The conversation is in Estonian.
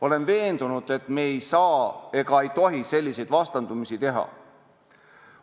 Olen veendunud, et me ei saa ega tohi selliseid vastandusi teha.